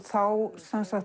þá